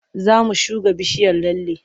Za mu shuga bishiyar lalle.